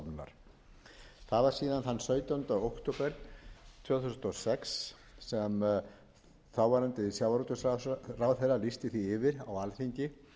þann sautjánda október tvö þúsund og sex sem þáverandi sjávarútvegsráðherra lýsti því yfir á alþingi